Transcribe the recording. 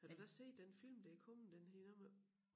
Har du da også set den film der kommet den hedder noget med